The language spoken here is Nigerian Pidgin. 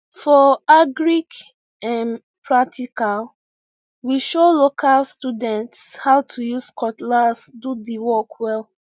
for agric um practical we show local students how to use cutlass do the work well